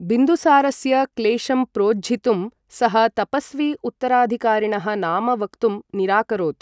बिन्दुसारस्य क्लेषं प्रोज्झितुं सः तपस्वी उत्तराधिकारिणः नाम वक्तुं निराकरोत्।